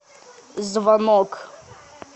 звонок